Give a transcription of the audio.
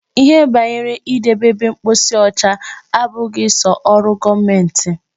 Ihe banyere idebe ebe mposi ọcha abụghị sọ ọrụ gọọmenti.